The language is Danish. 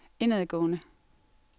indadgående